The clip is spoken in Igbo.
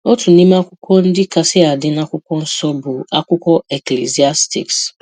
Otu n’ime akwụkwọ ndị kasị adị n’Akwụkwọ Nsọ bụ akwụkwọ Eklisiastis.